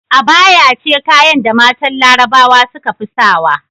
Abaya ce kayan da matan larabawa sukafi sawa